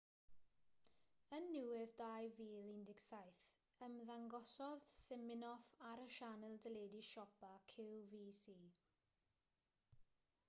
yn niwedd 2017 ymddangosodd siminoff ar y sianel deledu siopa qvc